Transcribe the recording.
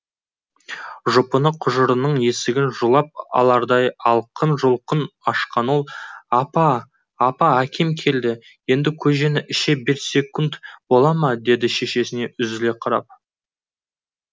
жұпыны құжыраның есігін жұлып алардай алқын жұлқын ашқан ол апа апа әкем келді енді көжені іше берсек бола ма деді шешесіне үзіле қарап